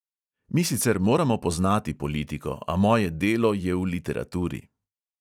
Mi sicer moramo poznati politiko, a moje delo je v literaturi.